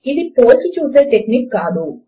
ఇది పోల్చి చూసే టెక్నిక్ కాదు